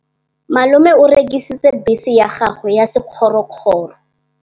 Malome o rekisitse bese ya gagwe ya sekgorokgoro.